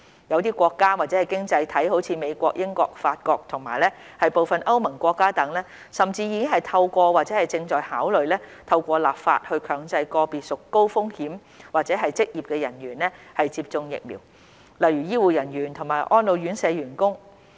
一些國家/經濟體如美國、英國、法國和部分歐盟國家等，甚至已經透過或正在考慮透過立法以強制個別屬高風險組別或職業的人員接種疫苗，例如醫護人員和安老院舍員工。